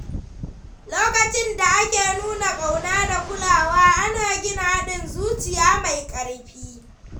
Lokacin da ake nuna kauna da kulawa, ana gina haɗin zuciya mai ƙarfi.